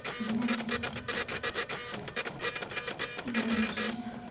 у меня есть ни одной причины